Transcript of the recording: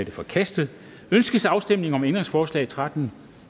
er forkastet ønskes afstemning om ændringsforslag nummer tretten